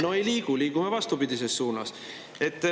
No ei liigu, liigume vastupidises suunas.